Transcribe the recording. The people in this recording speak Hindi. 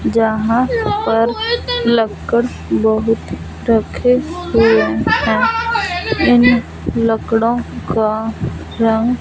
जहां पर लक्कड़ बहुत रखे हुए हैं इन लक्कड़ों का रंग--